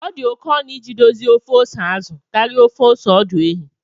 Ọ dị oke ọnụ iji dozie ofe ose azụ karịa ofe ose ọdụ ehi